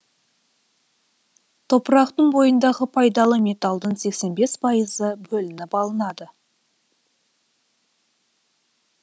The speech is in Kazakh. топырақтың бойындағы пайдалы металдың сексен бес пайызы бөлініп алынады